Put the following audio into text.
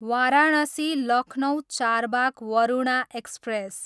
Varanasi, Lucknow Charbagh Varuna express